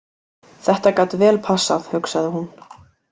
Þetta gat vel passað, hugsaði hún.